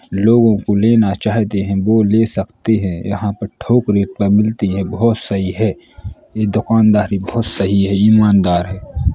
लोगो को लेना चाहते है वो ले सकतें हैं | यहाँ पर थोक रेट पर मिलती है बहोत सही है दुकानदारी बहोत सही है ईमानदार है।